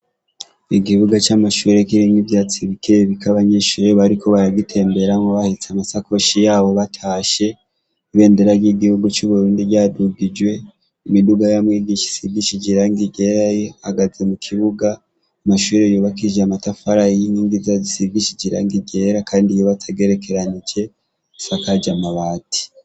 Igibuga c'amashure k'iringe ivyatsi bikee bika abanyishureyo bariko baragitemberamwo bahitse amasakoshi yabo batashe ibendera ry'igihugu c'uburundi ryadugijwe imiduga yamwigisha sigishi jiranke igerayo hagaze mu kibuga amashure yubakije amatafara y'inkingi za zisigishi jiranke igera, kandi yibatsa gerekeranije sakaja amabati.